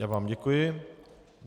Já vám děkuji.